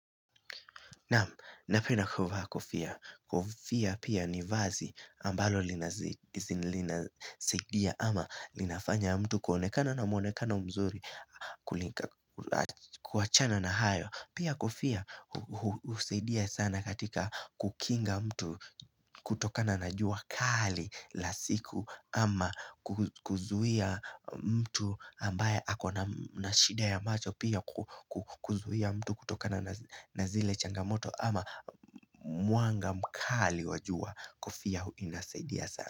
Naam, napenda kuvaa kofia. Kofia pia ni vazi ambalo linasaidia ama linafanya mtu kuonekana na mwonekana mzuri kuachana na hayo. Pia kofia husaidia sana katika kukinga mtu kutokana na jua kali la siku ama kuzuia mtu ambaye akona na shida ya macho pia kuzuia mtu kutokana na zile changamoto ama mwanga mkali wa jua kofia inasaidia sana.